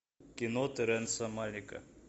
кино терренса малика